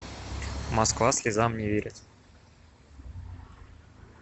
москва слезам не верит